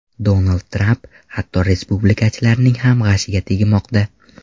Donald Tramp hatto respublikachilarning ham g‘ashiga tegmoqda.